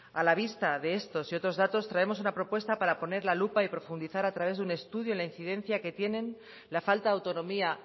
a la vista de estos y otros datos traemos una propuesta para poner la lupa y profundizar a través de un estudio la incidencia que tienen la falta de autonomía